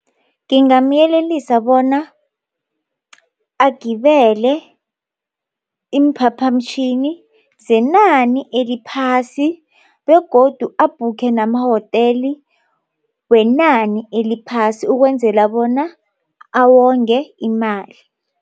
Ngingamyelelisa bona agibele iimphaphamtjhini zenani eliphasi begodu abhukhe namahoteli wenani eliphasi ukwenzela bona awonge imali.